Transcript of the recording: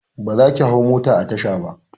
Ba zaki hau mota a tasha ba!